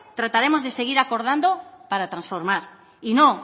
trataremos de seguir acordando para transformar y no